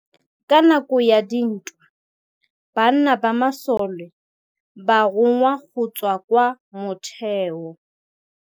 Ka nakô ya dintwa banna ba masole ba rongwa go tswa kwa mothêô.